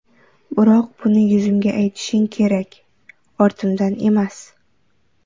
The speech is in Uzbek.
Biroq buni yuzimga aytishing kerak, ortimdan emas.